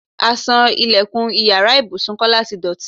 Aṣọ ìlẹ̀kùn ìyára ibùsùn Kọ́lá ti dọ̀tí.